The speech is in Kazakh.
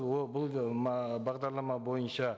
ол бұл бағдарлама бойынша